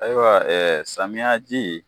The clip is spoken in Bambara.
Ayiwa samiya ji